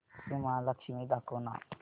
श्री महालक्ष्मी दाखव ना